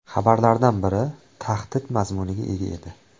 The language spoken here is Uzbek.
Xabarlardan biri tahdid mazmuniga ega edi.